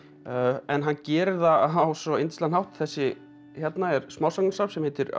en hann gerir það á svo yndislegan hátt þessi hérna er smásagnasafn sem heitir a